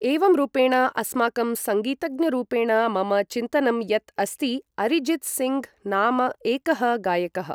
एवं रूपेण अस्माकं सङ्गीतज्ञरूपेण मम चिन्तनं यत् अस्ति अरिजित्सिङ्ग् नाम एकः गायकः